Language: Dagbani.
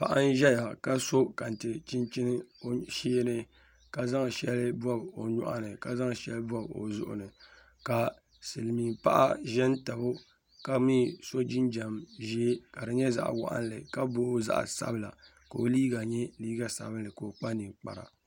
paɣa n zaya ka so kente chinchini o shee ni ka zaŋ shɛli bɔbi o nyɔɣu ni ka zaŋ shɛli bɔbi o zuɣu ni ka silimiinpaɣa za n-tabi o ka mi so jinjam ʒee ka di nyɛ zaɣ' waɣinli ka booi zaɣ' sabila ka o liiga nyɛ liiga sabinlli ka o kpa ninkpara